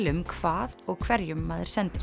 um hvað og hverjum maður sendir